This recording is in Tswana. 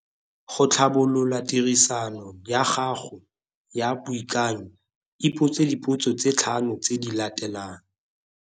Go tlhabolola tiriso ya gago ya boikanyo, ipotse dipotso tse tlhano tse di latelang.